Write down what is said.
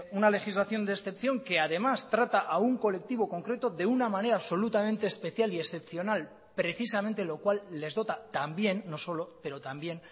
una legislación de excepción que además trata a un colectivo concreto de una manera absolutamente especial y excepcional precisamente lo cual les dota también no solo pero también